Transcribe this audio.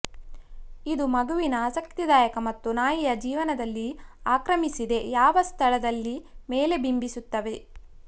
ಇದು ಮಗುವಿಗೆ ಆಸಕ್ತಿದಾಯಕ ಮತ್ತು ನಾಯಿಯ ಜೀವನದಲ್ಲಿ ಆಕ್ರಮಿಸಿದೆ ಯಾವ ಸ್ಥಳದಲ್ಲಿ ಮೇಲೆ ಬಿಂಬಿಸುತ್ತವೆ